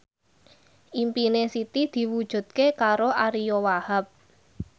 impine Siti diwujudke karo Ariyo Wahab